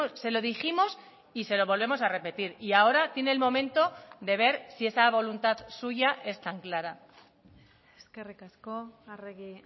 se lo dijimos y se lo volvemos a repetir y ahora tiene el momento de ver si esa voluntad suya es tan clara eskerrik asko arregi